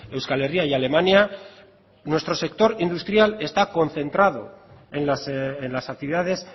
euskal herria y alemania nuestro sector industrial está concentrado en las actividades